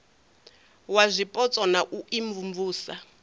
wa zwipotso na u imvumvusa